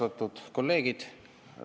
Austatud kolleegid!